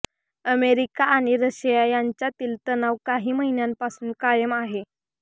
America आणि Russia यांच्यातील तणाव काही महिन्यांपासून कायम आहे